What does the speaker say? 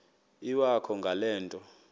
iwakho ngale nto